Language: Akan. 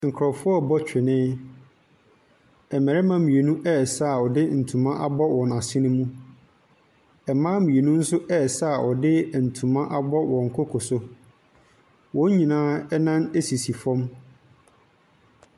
Nkurɔfoɔ ɛrebɔ twene, mmarima mmienu ɛresa a wɔde ntoma abɔ wɔn asene mu, mmaa mminu nso ɛresa a wɔde ntoma abɔ wɔn koko so. Wɔn nyinaa nan sisi fam.